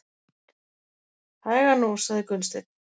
Hægan nú, sagði Gunnsteinn.